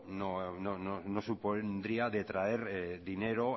no supondría traer dinero